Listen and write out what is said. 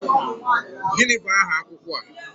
Gịnị bụ aha akwụkwọ a?